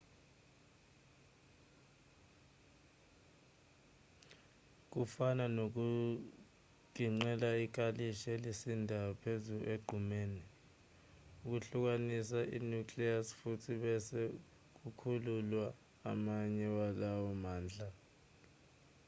kufana nokugingqela ikalishi elisindayo phezulu egqumeni ukuhlukanisa i-nucleus futhi bese kukhululwa amanye walawo mandla